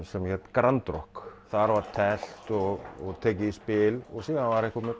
sem hét grand rokk þar var teflt og tekið í spil og síðan var einhver með